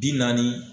Bi naani